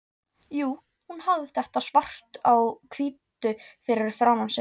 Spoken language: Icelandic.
Jú, hún hafði þetta svart á hvítu fyrir framan sig.